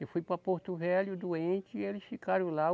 Eu fui para Porto Velho, doente, e eles ficaram lá.